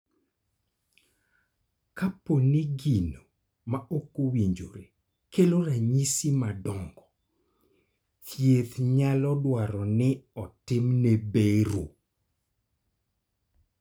Kapo ni gino ma ok owinjore kelo ranyisi madongo, thieth nyalo dwaro ni otimne bero.